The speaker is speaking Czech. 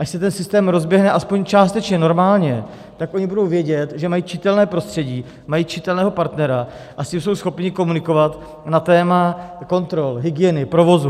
Až se ten systém rozběhne aspoň částečně normálně, tak oni budou vědět, že mají čitelné prostředí, mají čitelného partnera, a s tím jsou schopni komunikovat na téma kontrol, hygieny, provozu.